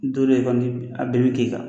a bɛɛ bɛ k'i kan